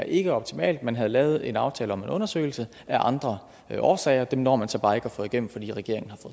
ikke er optimalt at man havde lavet en aftale om en undersøgelse af andre årsager og den når man så bare ikke at få igennem fordi regeringen har